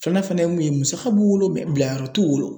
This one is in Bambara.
Filanan fɛnɛ ye mun ye musaka b'u wolo bilayɔrɔ t'u wolo.